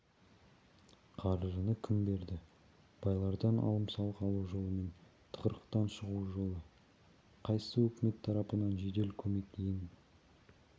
қаржыны кім берді байлардан алым-салық алу жолымен тығырықтан шығу жолы қайсы өкімет тарапынан жедел көмек ең